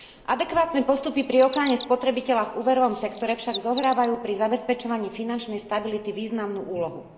Adekvátne postupy pri ochrane spotrebiteľa v úverovom sektore však zohrávajú pri zabezpečovaní finančnej stability významnú úlohu.